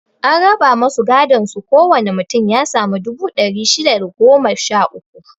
An raba masu godon su ko wane mutum ya sami dubu ɗari shida da goma sha uku